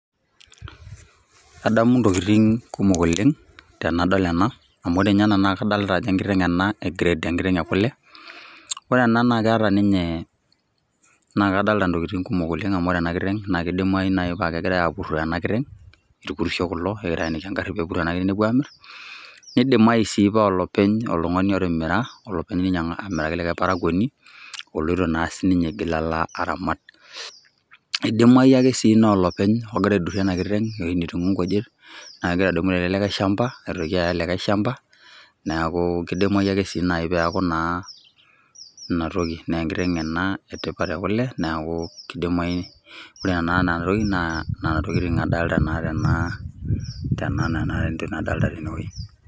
Adamu ntokitin kumok oleng tanadol ena, amu ore nye nakadolta ajo enkiteng e grade ena ,ore ena na keeta ninye ore enakiteng na kadolita ntokitin kumok oleng amu kadolta aa kidimai nai kegirai apuroo enakiteng, irpurisho kulo loenekini peepuo amir, nidimai sai paa olopeny oltungani oltimira nemiraki olikae aramatani oloito naa sinye alo aramat, idimai sii ake na olopeny ogira aidurie enkiteng enetii nkujitAa kegira aya likae shamba neaku kidimai sii neaku inatoki enkitengenaoleng neaku kidimai ore enatoki naa tonaa nonaa aa aa nona adolta tinewueji.